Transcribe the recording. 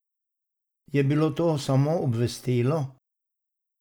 Je bilo to samo obvestilo?